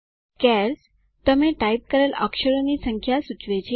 chars - તમે type કરેલ અક્ષરોની સંખ્યા સૂચવે છે